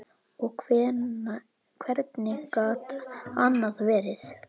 Og hvernig gat annað verið?